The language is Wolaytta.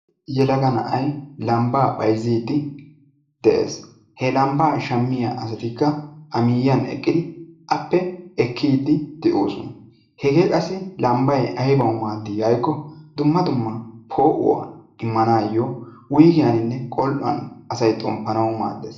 Yelaga na'ay lambba bayzzide de'es. he lambba shaamiiya asatikka appe ekiidi de'oosona. hege qassi lambba aybaw maadi giiko po'uwaa immanayo dumma dumma po'uwaa immanayo wuyggiyaninne gol'uwan asay xomppanaw maaddees.